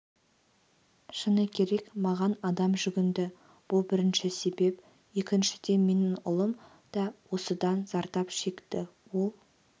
шыны керек маған адам жүгінді бұл бірінші себеп екіншіден менің ұлым да осыдан зардап шекті ол